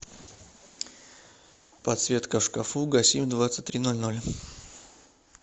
подсветка в шкафу гаси в двадцать три ноль ноль